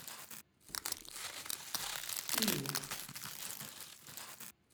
иу